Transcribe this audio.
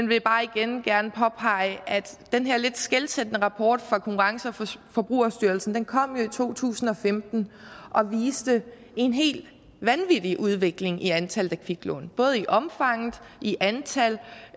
vil bare igen gerne påpege at den her lidt skelsættende rapport fra konkurrence og forbrugerstyrelsen jo kom i to tusind og femten og viste en helt vanvittig udvikling i antallet af kviklån både i omfang i antal